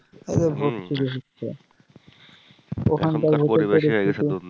vote ছুরি হচ্ছে ওখানকার পরিবেশে নাকি শুধু